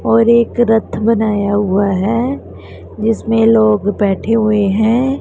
और एक रथ बनाया हुआ है जिसमें लोग बैठे हुए हैं।